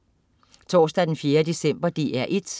Torsdag den 4. december - DR1: